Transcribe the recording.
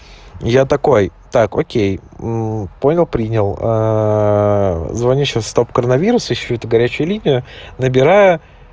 я такой так окей понял принял звонящего стопкоронавирус ищу эту горячую линию набираю